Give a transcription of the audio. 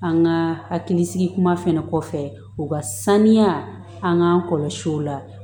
An ka hakili sigi kuma fɛnɛ kɔfɛ u ka saniya an k'an kɔlɔsi o la